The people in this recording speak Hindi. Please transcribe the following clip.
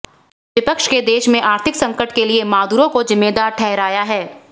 विपक्ष ने देश में आर्थिक संकट के लिए मादुरो को जिम्मेदार ठहराया है